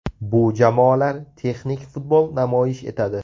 Bu jamoalar texnik futbol namoyish etadi.